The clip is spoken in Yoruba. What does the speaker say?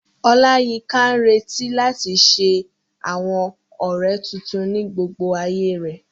Oláyínká ń retí láti ṣe àwọn ọ̀rẹ́ tuntun ní gbogbo ayé rẹ̀